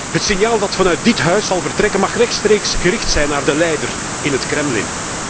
Het signaal dat vanuit dit Huis zal vertrekken, mag rechtstreeks gericht zijn aan de leider in het Kremlin.